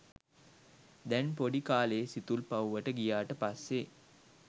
දැන් පොඩි කාලේ සිතුල්පව්වට ගියාට පස්සේ